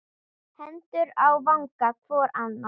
Hendur á vanga hvor annars.